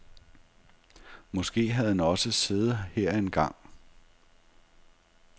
Måske havde han også siddet her engang.